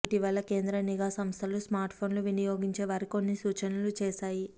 ఇటీవల కేంద్ర నిఘా సంస్థలు స్మార్ట్ఫోన్లు వినియోగించేవారికి కొన్ని సూచనలు చేశాయి